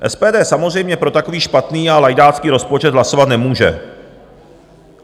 SPD samozřejmě pro takový špatný a lajdácký rozpočet hlasovat nemůže.